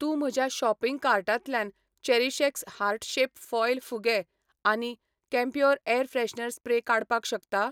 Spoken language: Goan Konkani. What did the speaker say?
तूं म्हज्या शॉपिंग कार्टांतल्यान चेरीशएक्स हार्ट शेप फॉयल फुगे आनी कैम्प्योर एयर फ्रेशनर स्प्रे काडपाक शकता?